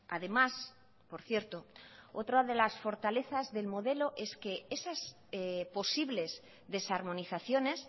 además por cierto otra de las fortalezas del modelo es que esas posibles desarmonizaciones